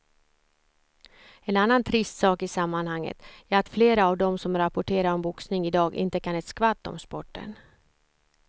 En annan trist sak i sammanhanget är att flera av de som rapporterar om boxning i dag inte kan ett skvatt om sporten.